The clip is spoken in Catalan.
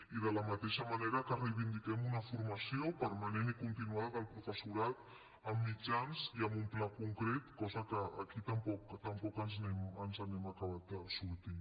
i de la mateixa manera que reivindiquem una formació permanent i continuada del professorat amb mitjans i amb un pla concret cosa que aquí tampoc ens n’hem acabat de sortir